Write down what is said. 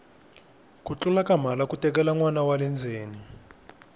ku tlula ka mhala ku letela nwana wale ndzeni